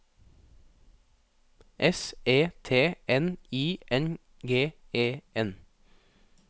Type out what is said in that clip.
S E T N I N G E N